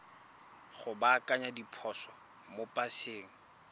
go baakanya diphoso mo paseng